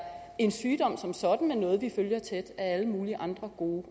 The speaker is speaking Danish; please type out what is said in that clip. en sygdom som sådan men noget vi følger tæt af alle mulige andre gode